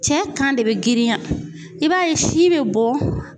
Cɛ kan de bɛ girinya i b'a ye si bɛ bɔ